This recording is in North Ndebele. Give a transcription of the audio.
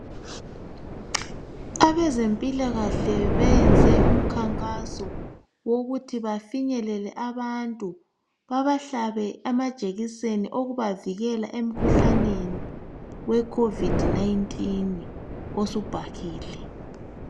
Abezempilakahle bayenze umkhankaso ukuthi bafinyelele abantu babahlabe amajekiseni okubavikela emkhuhlaneni wecovid 19 osubhahile.